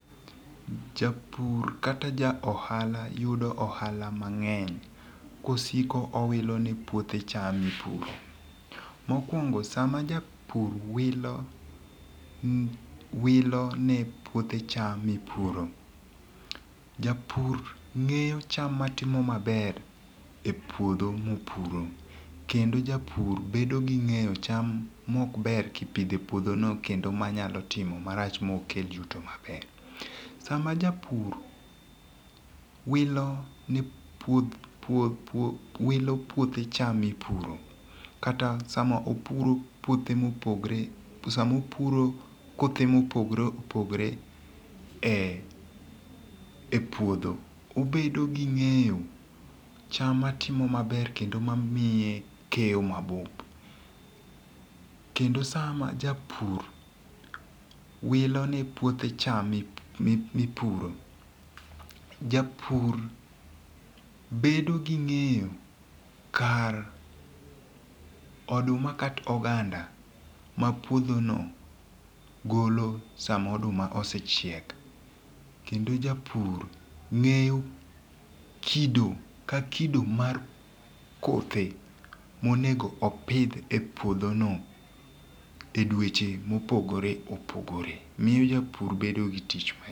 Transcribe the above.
Japur kata ja ohala yudo ohala mang'eny kosiko owilo ne puothe cham mipuro. Mokuongo sama japur wilo wilo ne puothe cham mipuro, japur ng'eyo cham matimo maber e puodho mopuro, kendo japur bedo gi ng'eyo cham mok ber kipidho e puodho no kendo manyalo timo marach mok kelo yuto maber. Sama jabur wilo ne puothe puothe wilo puothe cham mipuro kata sama opuro puothe mopogore sam opuro kothe mopogore opogore e e puodho, obedo gi ng'eyo cham matimo maber kendo mamiye keyo mabup. Kendo sa ma japur wilo ne puothe cham mipuro, japur bedo gi ng'eyo kar oduma kata oganda mapuodho no golo sama oduma ose chiek kendo japur ng'eyo kido ka kido mar kothe monego opidh e puodho no e dueche mopogore opogore miyo japur bedo gi tich.